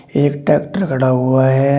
एक ट्रैक्टर खड़ा हुआ है।